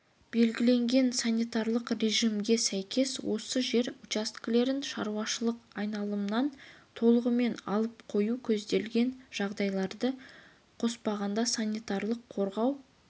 белгіленген санитарлық режимге сәйкес осы жер учаскелерін шаруашылық айналымынан толығымен алып қою көзделетн жағдайларды қоспағанда санитарлық-қорғау